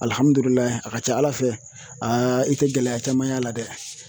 Alihamudulila a ka ca ala fɛ i tɛ gɛlɛya caman y'a la dɛ